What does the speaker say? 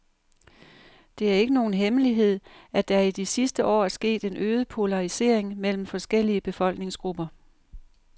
Det er ikke nogen hemmelighed, at der i de sidste år er sket en øget polarisering mellem forskellige befolkningsgrupper.